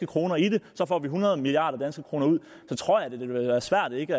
kroner i det så får vi hundrede milliard kroner ud så tror jeg det vil være svært ikke